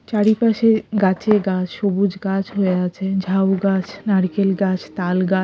চারিপাশে গাছে গাছ সবুজ গাছ হয়ে আছে ঝাউ গাছ নারিকেল গাছ তাল গাছ--